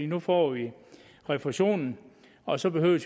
nu får de refusionen og så behøver